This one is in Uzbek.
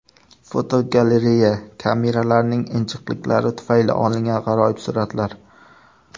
Fotogalereya: Kameralarning injiqliklari tufayli olingan g‘aroyib suratlar.